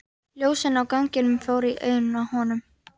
Ljósin á ganginum fóru í augun á honum.